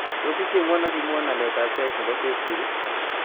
Tos' ichengwon ak iimwawon alyetap sheait ne po facebook ii